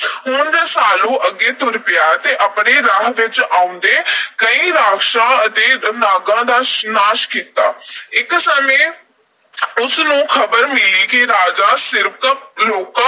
ਹੁਣ ਰਸਾਲੂ ਅੱਗੇ ਤੁਰ ਪਿਆ ਤੇ ਆਪਣੇ ਰਾਹ ਵਿੱਚ ਆਉਂਦੇ ਕਈ ਰਾਕਸ਼ਾਂ ਅਤੇ ਨਾਗਾਂ ਦਾ ਨਾਸ਼ ਕੀਤਾ। ਇਕ ਸਮੇਂ ਉਸ ਨੂੰ ਖ਼ਬਰ ਮਿਲੀ ਕਿ ਰਾਜਾ ਸਿਰਕੱਪ ਲੋਕਾਂ